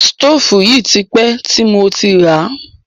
Sítòfù yìí ti pẹ́ ti mo ti ràá.